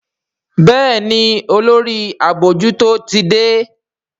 Béèni Olórí abojuto tí dé.